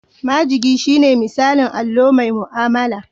Majigi shine misalin allo mai mu'amala.